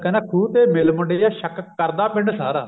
ਕਹਿੰਦਾ ਖੂਹ ਤੇ ਮਿਲ ਮੁੰਡਿਆਂ ਸ਼ੱਕ ਕਰਦਾ ਪਿੰਡ ਸਾਰਾ